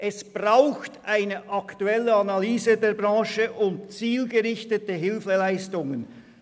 Es braucht eine aktuelle Analyse der Branche und zielgerichtete Hilfeleistungen.